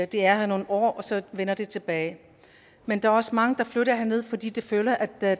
de er her nogle år og så vender de tilbage men der er også mange der flytter herned fordi de føler at